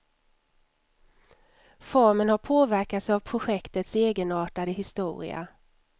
Formen har påverkats av projektets egenartade historia.